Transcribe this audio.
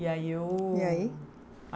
E aí eu... E aí?